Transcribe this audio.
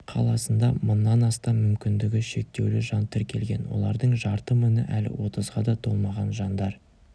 қаласында мыңнан астам мүмкіндігі шектеулі жан тіркелген олардың жарты мыңы әлі отызға да толмаған жандар